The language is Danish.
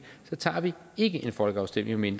så tager vi ikke en folkeafstemning